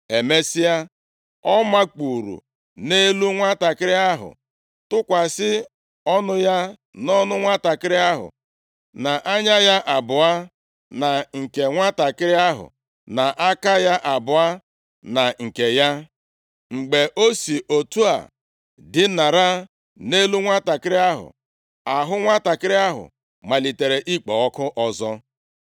Emesịa, ọ makpuuru nʼelu nwantakịrị ahụ, tụkwasị ọnụ ya nʼọnụ nwantakịrị ahụ, na anya ya abụọ na nke nwantakịrị ahụ, na aka ya abụọ na nke ya. Mgbe o si otu a dinara nʼelu nwantakịrị ahụ, ahụ nwantakịrị ahụ malitere ikpo ọkụ ọzọ.